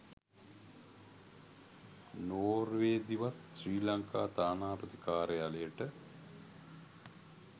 නෝර්වේදිවත් ශ්‍රී ලංකා තානාපති කාර්යාලයට